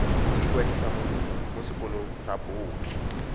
ikwadisa mo sekolong sa botlhe